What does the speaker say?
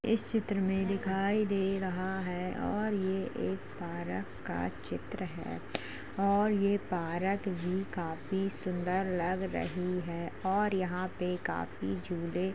इस चित्र में दिखाई दे रहा है और ये एक पारक का चित्र है और ये पारक भी काफी सुंदर लग रही है और यहाँ पे काफी झूलें --